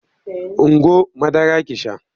Ungo madara ki sha!